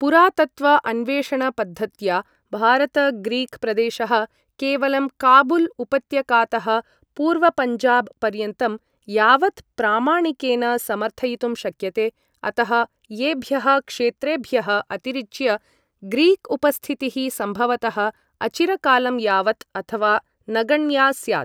पुरातत्त्व अन्वेषण पद्धत्या भारत ग्रीक् प्रदेशः केवलं काबुल् उपत्यकातः पूर्वपञ्जाब् पर्यन्तं यावत् प्रामाणिकेन समर्थयितुं शक्यते, अतः एभ्यः क्षेत्रेभ्यः अतिरिच्य ग्रीक् उपस्थितिः सम्भवतः अचिरकालं यावत्, अथवा नगण्या स्यात्।